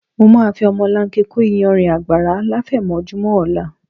Mo máa fi ọmọlanke kó iyanrìn àgbàrá láfẹ̀mọ́júmọ́ ọ̀la